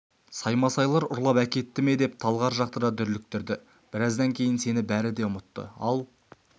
саймасайлар ұрлап әкетті ме деп талғар жақты да дүрліктірді біраздан кейін сені бәрі де ұмытты ал